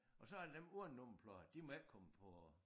Og så er der dem uden nummerplader de må ikke komme på